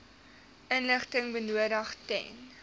inligting benodig ten